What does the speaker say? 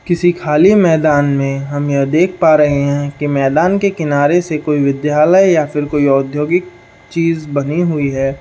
किसी खाली मैदान में हम यह देख पा रहे है की मैदान के किनारे से कोई विद्यालय या फिर कोई औद्योगिक चीज बनी हुई है ।